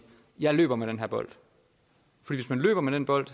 jeg løber med den her bold for hvis man løber med den bold